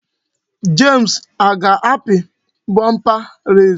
James aga-api bumper race?